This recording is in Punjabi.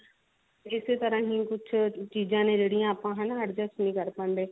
ਇਸੇ ਤਰਾਂ ਹੀ ਕੁਝ ਚੀਜ਼ਾਂ ਨੇ ਜਿਹੜੀਆਂ ਆਪਾ ਹਨਾ adjust ਨਹੀ ਕਰ ਪਾਉਂਦੇ